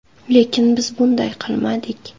Lekin biz bunday qilmadik.